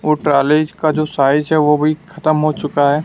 वो टालेज का जो साइज है वो भी खत्म हो चुका है।